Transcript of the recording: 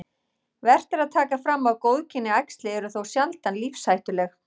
Vert er að taka fram að góðkynja æxli eru þó sjaldan lífshættuleg.